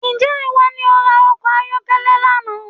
Ǹjẹ́ ìwọ ní o ra ọkọ̀ ayọ́kẹ́lẹ́ lánàá